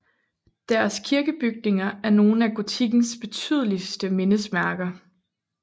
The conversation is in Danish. Deres kirkebygninger er nogle af gotikkens betydeligste mindesmærker